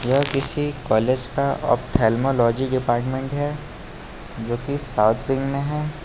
यह किसी कॉलेज का आप्थाल्मालॉजी डिपार्टमेंट है जो की साउथ विंग में है।